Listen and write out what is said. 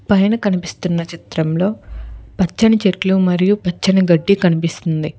పైన కనిపిస్తున్నా చిత్రంలో పచ్చని చెట్లు మరియ పచ్చని గడ్డి కనిపిస్తుంది.